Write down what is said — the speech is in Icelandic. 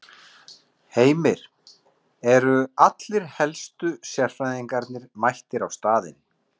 Heimir, eru allir helstu sérfræðingarnir mættir á staðinn?